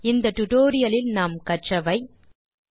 இந்த டுடோரியலில் நாம் கற்றவை 1